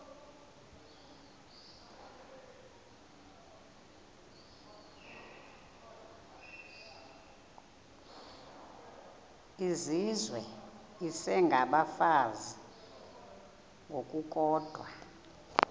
izizwe isengabafazi ngokukodwa